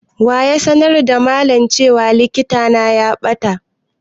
Wa ya sanar da malam cewa littafi na ya ɓata?